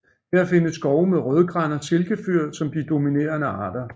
Her findes skove med rødgran og silkefyr som de dominerende arter